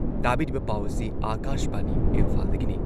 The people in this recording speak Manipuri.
ꯇꯥꯕꯤꯔꯤꯕ ꯄꯥꯎ ꯑꯁꯤ ꯑꯥꯀꯥꯁꯕꯥꯅꯤ ꯏꯝꯐꯥꯜꯗꯒꯤꯅꯤ꯫